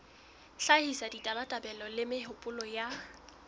hlahisa ditabatabelo le mehopolo ya